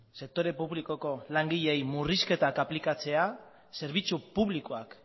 sektore publikoko langileei murrizketak aplikatzea zerbitzu publikoak